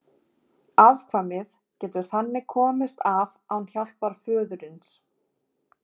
Afkvæmið getur þannig komist af án hjálpar föðurins.